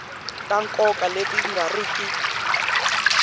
ta nkoka leti nga riki